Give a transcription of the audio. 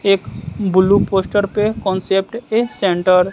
एक blue poster पे concept के सेंटर --